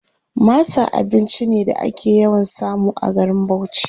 Masa abinci ne da ake yawan samu a garin Bauchi.